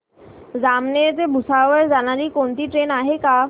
जामनेर ते भुसावळ जाणारी कोणती ट्रेन आहे का